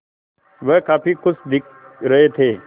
वह काफ़ी खुश दिख रहे थे